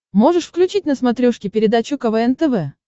можешь включить на смотрешке передачу квн тв